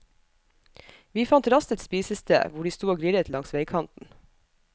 Vi fant raskt et spisested, hvor de stod og grillet langs veikanten.